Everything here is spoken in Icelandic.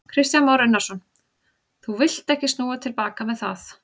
Kristján Már Unnarsson: Þú villt ekki snúa til baka með það?